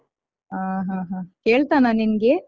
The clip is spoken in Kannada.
ಹಾ ಹಾ ಕೇಳ್ತಾನಾ ನಿಂಗೆ?